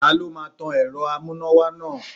Ta ló máa tan èrò amúnáwá náà.